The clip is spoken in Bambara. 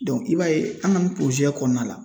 i b'a ye an ka nin kɔnɔna la